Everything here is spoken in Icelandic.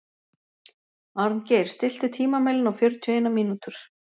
Arngeir, stilltu tímamælinn á fjörutíu og eina mínútur.